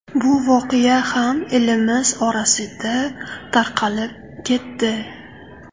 Bu voqea ham elimiz orasida tarqalib ketdi.